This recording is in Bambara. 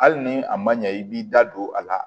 Hali ni a ma ɲɛ i b'i da don a la